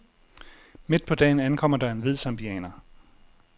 Midt på dagen ankommer der en hvid zambianer.